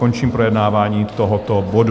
Končím projednávání tohoto bodu.